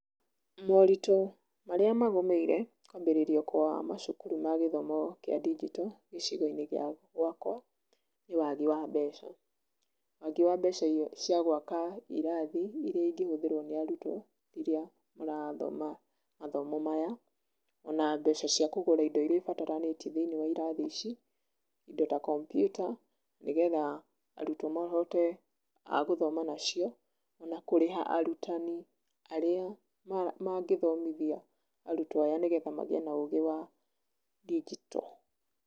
Morĩtũ marĩ magũmĩire, kwambĩrĩrio kwa macukuru ma gĩthomo kĩa ndinjito gĩcigo-ĩnĩ gia gwakwa nĩ wagi wa mbeca. Wagi wa mbeca cia gwaka irathi irĩa ingĩhũthĩrwo nĩ arutwo rĩrĩa marathoma, mathomo maya ona mbeca cia kũgũra indo irĩa ibataranĩtie thĩinĩ wa irathi ici, indo ta kompiuta, nĩgetha arutwo mahote, a gũthoma nacio, ona kũrĩha arutani arĩa mangĩthomithia arutwo aya nĩgetha magĩe na ũgĩ wa, ndinjito.